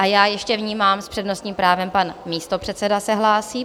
A já ještě vnímám, s přednostním právem pan místopředseda se hlásí.